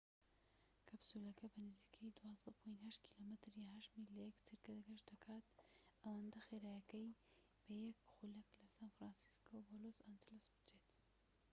کەپسولەکە بە نزیکەی 12.8 کم یان 8 میل لە یەک چرکە گەشت دەکا ئەوەندە خێرایە بە یەک خولەك لە سان فرانسیسکۆ بۆ لۆس ئەنجلس بچێت